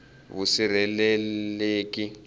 vusirheleleki